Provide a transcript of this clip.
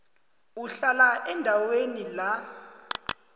uhlala endaweni la